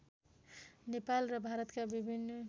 नेपाल र भारतका विभिन्न